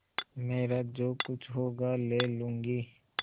मेरा जो कुछ होगा ले लूँगी